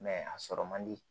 a sɔrɔ man di